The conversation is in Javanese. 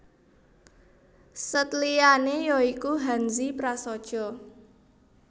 Sèt liyané ya iku Hanzi prasaja